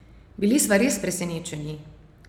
Bili sva res presenečeni!